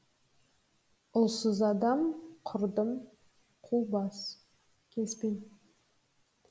ұлсыз адам құрдым қубас келіспеймін